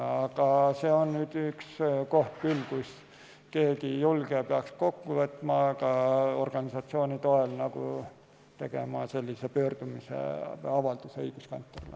Aga see on üks koht küll, kus keegi julge peaks ennast kokku võtma ja ka organisatsioonide toel tegema sellise pöördumise või avalduse õiguskantslerile.